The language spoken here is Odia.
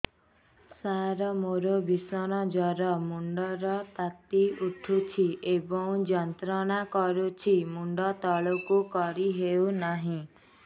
ସାର ମୋର ଭୀଷଣ ଜ୍ଵର ମୁଣ୍ଡ ର ତାତି ଉଠୁଛି ଏବଂ ଯନ୍ତ୍ରଣା କରୁଛି ମୁଣ୍ଡ ତଳକୁ କରି ହେଉନାହିଁ